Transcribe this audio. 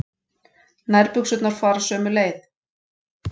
Nærbuxurnar fara sömu leið.